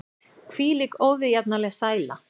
Hvílík óviðjafnanleg sæla!